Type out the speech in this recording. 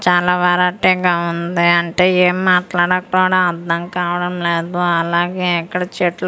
చాలా వెరైటీ గా ఉంది అంటే ఏం మాట్లాడేకుడా అర్థం కావడంలేదు అలాగే ఇక్కడ చెట్లు కూడా పే--